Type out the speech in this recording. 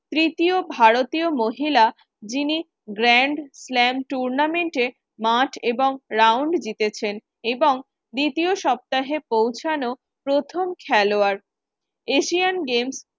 তৃতীয় ভারতীয় মহিলা যিনি Grand slam tournament এ এবং round জিতেছেন এবং দ্বিতীয় সপ্তাহে পৌঁছানো প্রথম খেলোয়াড় Asian games